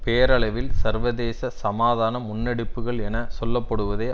பெயரளவில் சர்வதேச சமாதான முன்னெடுப்புகள் என சொல்ல படுவதை